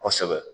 Kosɛbɛ